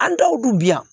An dɔw dun bi yan